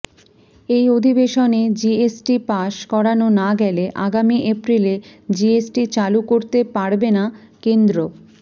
এই অধিবেশনে GST pass করানো না গেলে আগামী এপ্রিলে জিএসটি চালু করতে পারবে না কেন্দ্র